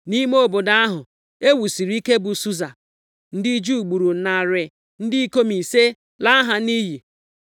Nʼime obodo ahụ e wusiri ike bụ Susa, ndị Juu gburu narị ndị ikom ise laa ha nʼiyi.